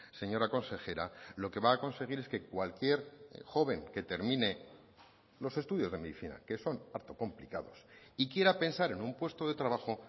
señora consejera lo que va a conseguir es que cualquier joven que termine los estudios de medicina que son harto complicados y quiera pensar en un puesto de trabajo